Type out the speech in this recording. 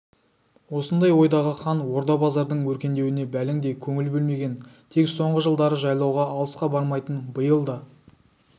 осындай ойдағы хан орда-базардың өркендеуіне бәлендей көңіл бөлмеген тек соңғы жылдары жайлауға алысқа бармайтын биыл да